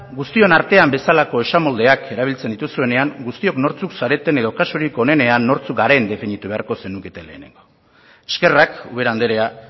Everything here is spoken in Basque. guztion artean bezalako esamoldeak erabiltzen dituzuenean guztiok nortzuk zareten edo kasurik onenean nortzuk garen definitu beharko zenukete lehenengo eskerrak ubera andrea